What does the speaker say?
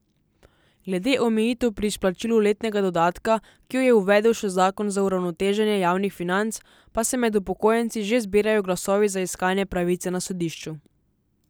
Glede omejitev pri izplačilu letnega dodatka, ki jo je uvedel še zakon za uravnoteženje javnih financ, pa se med upokojenci že zbirajo glasovi za iskanje pravice na sodišču.